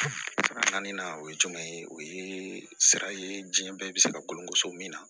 Naani na o ye jumɛn ye o ye sira ye diɲɛ bɛɛ bɛ se ka golo so min na